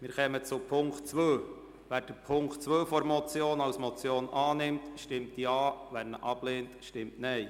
Wer den Punkt 2 der Motion annimmt, stimmt Ja, wer diesen ablehnt, stimmt Nein.